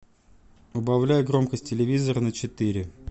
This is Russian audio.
убавляй громкость телевизора на четыре